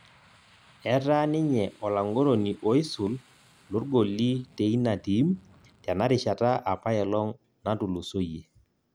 Etaa ninye olang'oroni oisul logoli teina tim tena rishata apailong' natulusoyie